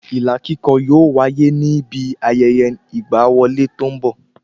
Ilà kíkọ yóò wáyé ní bi ayẹyẹ ìgba wọlé tó n bọ